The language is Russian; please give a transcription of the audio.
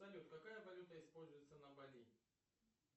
салют какая валюта используется на бали